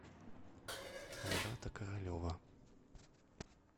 айрата королева